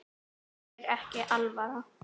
Þér er ekki alvara